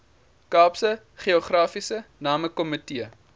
kaapse geografiese namekomitee